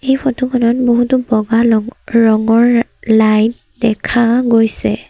এই ফটো খনত বহুতো বগা লং-ৰঙৰ লাইট দেখা গৈছে।